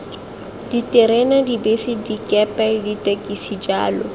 diterena dibese dikepe ditekisi jalo